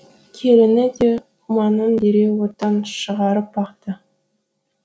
келіні де құманын дереу оттан шығарып бақты